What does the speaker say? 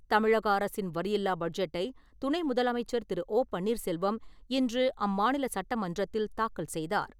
தமிழக அரசின் வரியில்லா பட்ஜெட்டை, துணை முதலமைச்சர் திரு. ஓ. பன்னீர்செல்வம் இன்று அம்மாநில சட்டமன்றத்தில் தாக்கல் செய்தார்.